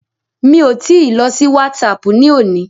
Mi ò tí I lọ sí WhatsApp ní òní.